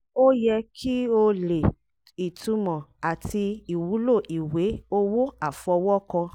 ó yẹ kí o lè: ìtúmọ̀ àti ìwúlò ìwé owó àfọwọ́kọ